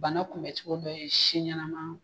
Bana kun bɛ cogo dɔ si ɲɛnama.